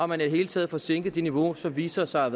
man i det hele taget får sænket det niveau som viser sig at